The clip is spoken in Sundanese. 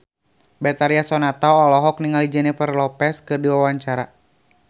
Betharia Sonata olohok ningali Jennifer Lopez keur diwawancara